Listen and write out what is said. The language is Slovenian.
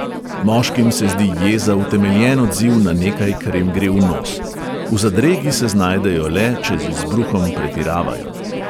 Moškim se zdi jeza utemeljen odziv na nekaj, kar jim gre v nos, v zadregi se znajdejo le, če z izbruhom pretiravajo.